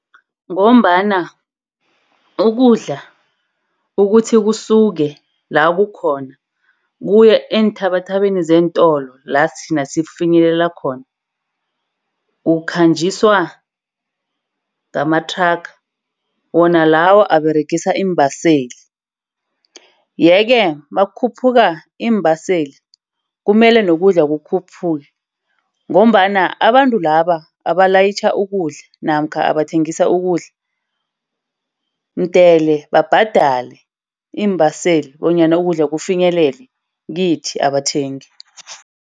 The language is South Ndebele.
Ngombana ukudla ukuthi kusuke la kukhona kuye eenthabathabeni zeentolo lathina sikufinyelela khona ukhanjiswa ngamathraga wona lawo aberegisa iimbaseli. Yeke nakukhuphuka iimbaseli kumele nokudla kukhuphuke ngombana abantu laba abalayitjha ukudla namkha abathengisa ukudla mdele babhadale iimbaseli bonyana ukudla kufinyelele kithi abathengi.